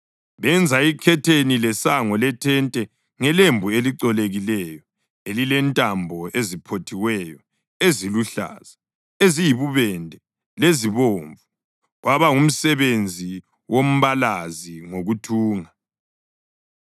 Benza ikhetheni lesango lethente ngelembu elicolekileyo elilentambo eziphothiweyo eziluhlaza, eziyibubende lezibomvu, kwaba ngumsebenzi wombalazi ngokuthunga;